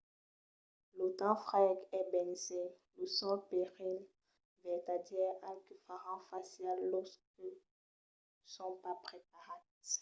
lo temps freg es bensai lo sol perilh vertadièr al que faràn fàcia los que son pas preparats